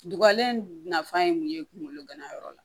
Dubalen nafa ye mun ye kungolo ganayɔrɔ la